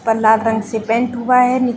इस पर लाल रंग से पेंट हुआ है नि --